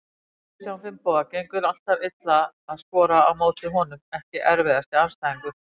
Kristján Finnboga, gengur alltaf illa að skora á móti honum Ekki erfiðasti andstæðingur?